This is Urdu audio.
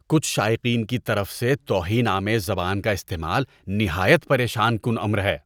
کچھ شائقین کی طرف سے توہین آمیز زبان کا استعمال نہایت پریشان کن امر ہے۔